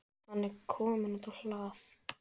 Hann er kominn út á hlað.